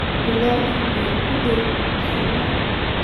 bilow oo iimayl u dir emma